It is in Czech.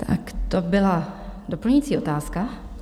Tak to byla doplňující otázka.